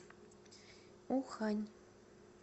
ухань